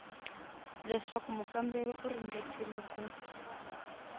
leswaku mukamberiwa u ringetile ku